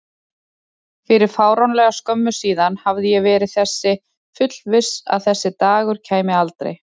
Fyrir fáránlega skömmu síðan hafði ég verið þess fullviss að þessi dagur kæmi aldrei.